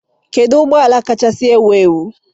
kedu ụgbọ ala kacha ewu ewu